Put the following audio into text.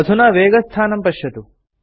अधुना वेगस्थानं पश्यतु